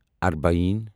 اربعین